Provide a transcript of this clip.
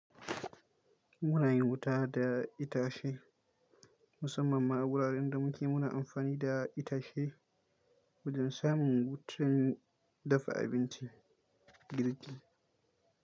Muna yin wuta da itace musamman ma wuraren da muke muna amfani da itace wajen samun wutar dafa abinci girki.